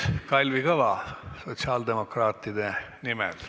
Kalvi Kõva sotsiaaldemokraatide nimel.